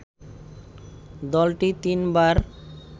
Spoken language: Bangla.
দলটি তিনবার